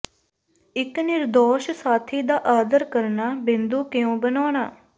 ਇੱਕ ਨਿਰਦੋਸ਼ ਸਾਥੀ ਦਾ ਆਦਰ ਕਰਨਾ ਬਿੰਦੂ ਕਿਉਂ ਬਣਾਉਣਾ